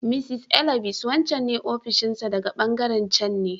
Mr. Elvis ne wancan ne ofishin sa daga ɓangaren can ne.